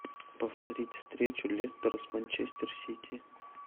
повторить встречу лестера с манчестер сити